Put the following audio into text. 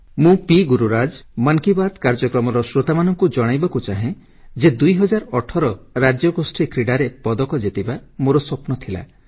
ମୁଁ ପି ଗୁରୁରାଜ ମନ୍ କି ବାତ୍ କାର୍ଯ୍ୟକ୍ରମର ଶ୍ରୋତାମାନଙ୍କୁ ଜଣାଇବାକୁ ଚାହେଁ ଯେ 2018 ରାଜ୍ୟଗୋଷ୍ଠୀ କ୍ରୀଡ଼ାରେ ପଦକ ଜିତିବା ମୋର ସ୍ୱପ୍ନ ଥିଲା